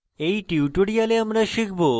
in tutorial আমরা শিখব